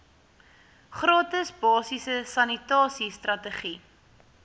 gratis basiese sanitasiestrategie